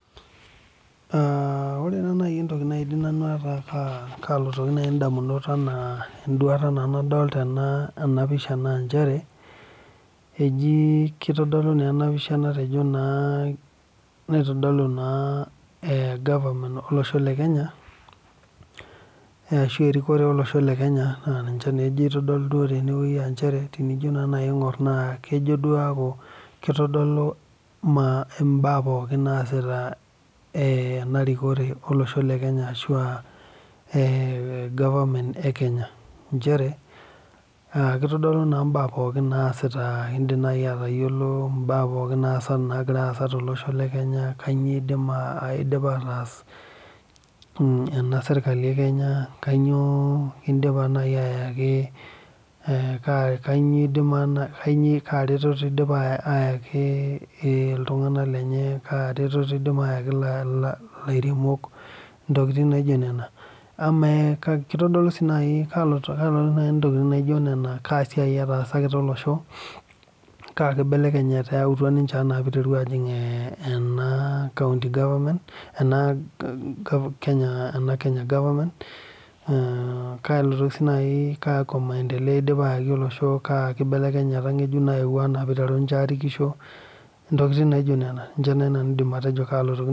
Ore nai entoki nalotoki nanu indamunot enaa en'duata naa nadolita ena pisha naa nchere eji kitodolu naa ena pisha natejo naa naitodolu naa ee government olosho le Kenya ashu erikore olosho le Kenya naa ninche eitodolu duo tene wueji aa nchere tenijo naa nai aing'ur na kejo duo aaku kitodolu imbaa pooki naasita enarikore olosho le Kenya ashu anaa government olosho le Kenya nchere kitodolu naa mbaa pookin naasita in'dim naai atayiolo mbaa pooki nagira naa aasa tolosho le Kenya naa kainyoo eidipa aatas ena serkali e Kenya, kainyoo aah kaa retoto eidipa aayaki iltung'ana lenye, kaa retoto eidipa aayaki ilairemok ntokiting naijo nena, kaa siai etaasakita olosho kaa kibelekenyata eyautwa ninche enaa neiteru aajing' ena County government ena Kenya government mmmh kalotoki siinai kakwa maendeleo eidipa aayaki olosho, kaa kibelekenyata ng'ejuk nayewuo enaa niteru ninche aarikisho ntokiting naijo nena ninche nanu aidim atejo kaalotoki